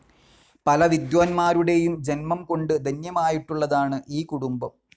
പല വിദ്വാൻമാരുടെയും ജൻമംകൊണ്ട് ധന്യമായിട്ടുളളതാണ് ഈ കുടുംബം.